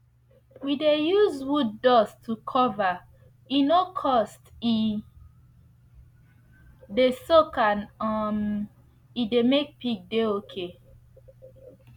we de use wooddust to cover e no cost e de soak and um e de make pig de okay